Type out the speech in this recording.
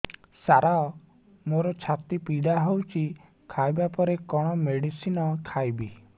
ସାର ମୋର ଛାତି ପୀଡା ହଉଚି ଖାଇବା ପରେ କଣ ମେଡିସିନ ଖାଇବି